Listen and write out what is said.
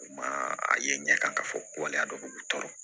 Ma a ye ɲɛ kan ka fɔ ko waleya dɔ b'u tɔɔrɔ